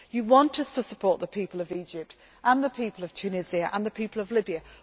percent. You want us to support the people of Egypt, the people of Tunisia and the people